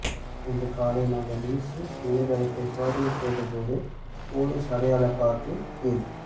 இன்று காலை நாங்கள் இசி இணையத்தளத்தை சோதனை செய்த போது போலீஸ் அடையாளக் கார்டின் கீழ்